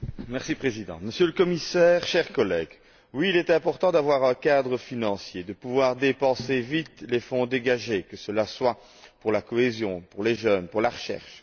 Monsieur le Président, Monsieur le Commissaire, chers collègues, oui, il est important d'avoir un cadre financier, de pouvoir vite dépenser les fonds dégagés, que ce soit pour la cohésion, pour les jeunes ou pour la recherche.